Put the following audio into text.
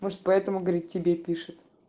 может поэтому говорит тебе пишет